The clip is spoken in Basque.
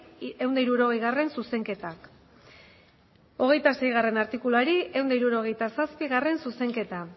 ehun eta hirurogei zuzenketa hogeita seigarrena artikuluari ehun eta hirurogeita zazpigarrena zuzenketa